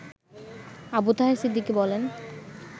আবু তাহের সিদ্দিকী বলেন